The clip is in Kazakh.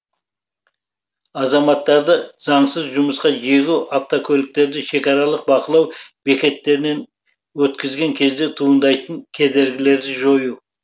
азаматтарды заңсыз жұмысқа жегу автокөліктерді шекаралық бақылау бекеттерінен өткізген кезде туындайтын кедергілерді жою